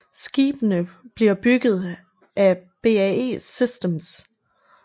Skibene bliver bygget af BAE Systems